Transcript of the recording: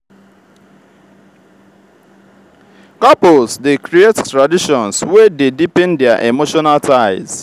couples dey create traditions wey dey deepen their emotional ties.